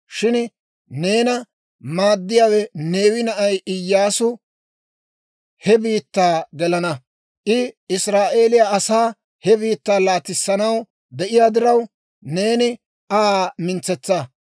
Shin neena maaddiyaawe, Neewe na'ay Iyyaasu he biittaa gelana. I Israa'eeliyaa asaa he biittaa laatissanaw de'iyaa diraw, neeni Aa mintsetsa.